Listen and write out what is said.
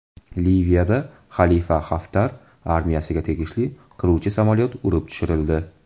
Liviyada Xalifa Xaftar armiyasiga tegishli qiruvchi samolyot urib tushirildi.